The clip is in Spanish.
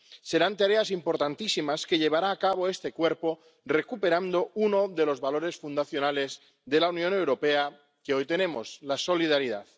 serán tareas importantísimas que llevará a cabo este Cuerpo, recuperando uno de los valores fundacionales de la Unión Europea que hoy tenemos la solidaridad.